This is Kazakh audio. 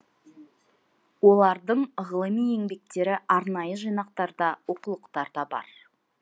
олардың ғылыми еңбектері арнайы жинақтарда оқулықтарда бар